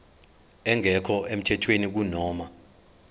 engekho emthethweni kunoma